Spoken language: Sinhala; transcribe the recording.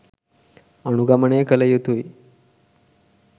අනුගමනය කළ යුතුයි.